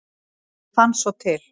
Ég fann svo til.